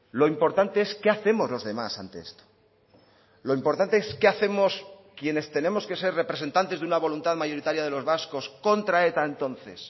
lo importante es qué hacemos los demás ante esto lo importante es qué hacemos quienes tenemos que ser representantes de una voluntad mayoritaria de los vascos contra eta entonces